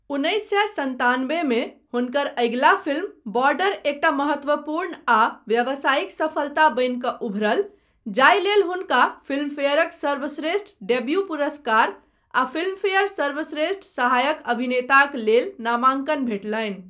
उन्नैस सए सन्तानबे मे हुनकर अगिला फिल्म 'बॉर्डर' एकटा महत्वपूर्ण आ व्यावसायिक सफलता बनि कऽ उभरल, जाहि लेल हुनका फिल्मफेयरक सर्वश्रेष्ठ डेब्यू पुरस्कार आ फिल्मफेयर सर्वश्रेष्ठ सहायक अभिनेताक लेल नामांकन भेटलनि।